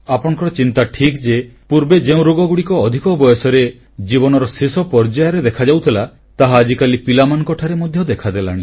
ଆପଣଙ୍କର ଚିନ୍ତା ଠିକ୍ ଯେ ପୂର୍ବେ ଯେଉଁ ରୋଗଗୁଡ଼ିକ ଅଧିକ ବୟସରେ ଜୀବନର ଶେଷ ପର୍ଯ୍ୟାୟରେ ଦେଖାଯାଉଥିଲା ତାହା ଆଜିକାଲି ପିଲାମାନଙ୍କଠାରେ ମଧ୍ୟ ଦେଖାଦେଲାଣି